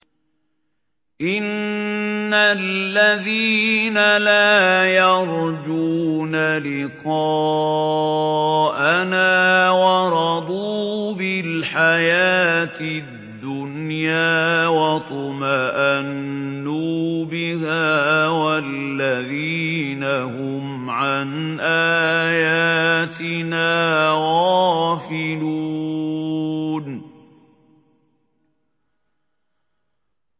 إِنَّ الَّذِينَ لَا يَرْجُونَ لِقَاءَنَا وَرَضُوا بِالْحَيَاةِ الدُّنْيَا وَاطْمَأَنُّوا بِهَا وَالَّذِينَ هُمْ عَنْ آيَاتِنَا غَافِلُونَ